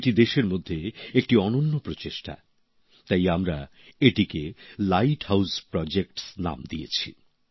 এটি দেশের মধ্যে একটি অনন্য প্রচেষ্টা তাই আমরা এটিকে লাইট হাউস প্রোজেক্ট নাম দিয়েছি